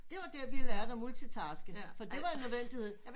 Det var der vi lærte at multitaske for det var en nødvendighed